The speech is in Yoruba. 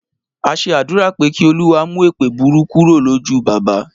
A ṣe àdúrà pé Kí Olúwa mú èèpẹ̀ burú kúrò lójú bàbá